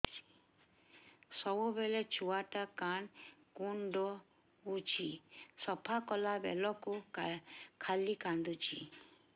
ସବୁବେଳେ ଛୁଆ ଟା କାନ କୁଣ୍ଡଉଚି ସଫା କଲା ବେଳକୁ ଖାଲି କାନ୍ଦୁଚି